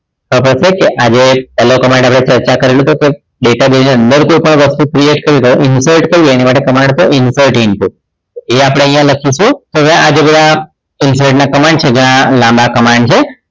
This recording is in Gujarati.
ખબર છે કે આજે પહેલ command ચર્ચા કરેલો છે તે database ની અંદર કોઈપણ વસ્તુ create કરવી હોય insert કરવી હોય તો એની માટે command છે insert input એ આપણે અહીંયા લખીશું હવે જે આ બધા અહીંયા insert ના command છે ઘણા લાંબા command છે